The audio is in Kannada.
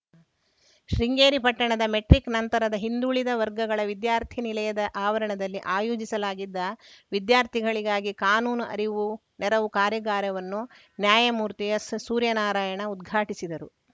ಶೃಂಗೇರಿ ಪಟ್ಟಣದ ಮೆಟ್ರಿಕ್‌ ನಂತರದ ಹಿಂದುಳಿದ ವರ್ಗಗಳ ವಿದ್ಯಾರ್ಥಿ ನಿಲಯದ ಆವರಣದಲ್ಲಿ ಆಯೋಜಿಸಲಾಗಿದ್ದ ವಿದ್ಯಾರ್ಥಿಗಳಿಗಾಗಿ ಕಾನೂನು ಅರಿವು ನೆರವು ಕಾರ್ಯಾಗಾರವನ್ನು ನ್ಯಾಯಮೂರ್ತಿ ಎಸ್‌ ಸೂರ್ಯನಾರಾಯಣ ಉದ್ಘಾಟಿಸಿದರು